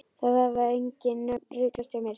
Það hafa engin nöfn ruglast hjá mér.